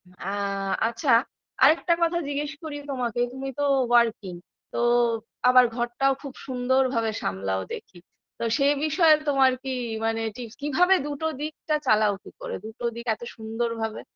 আ আচ্ছা আর একটা কথা জিজ্ঞেস করি তোমাকে তুমি তো working তো আবার ঘরটাও খুব সুন্দর ভাবে সামলাও দেখি তো সে বিষয়ে তোমার কি মানে ঠিক কীভাবে দুটো দিকটা চালাও কি করে দুটো দিক এত সুন্দরভাবে